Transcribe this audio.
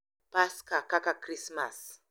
Paska, kaka Krismas,